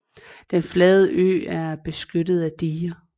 Den flade ø er beskyttet af diger